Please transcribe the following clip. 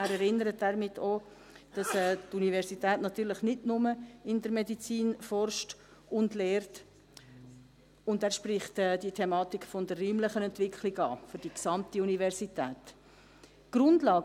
Er erinnert damit auch daran, dass die Universität natürlich nicht nur in der Medizin forscht und lehrt, und er spricht die Thematik der räumlichen Entwicklung für die gesamte Universität an.